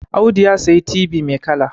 Audu ya sayi tibi mai kala